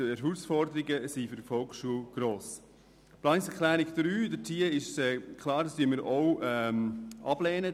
Zur Planungserklärung 3: Es ist klar, dass wir die Massnahme 48.3.4 ablehnen.